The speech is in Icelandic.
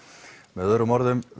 með öðrum orðum